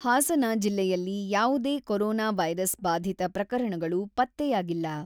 ಹಾಸನ ಜಿಲ್ಲೆಯಲ್ಲಿ ಯಾವುದೇ corona virus ಬಾಧಿತ ಪ್ರಕರಣಗಳು ಪತ್ತೆಯಾಗಿಲ್ಲ.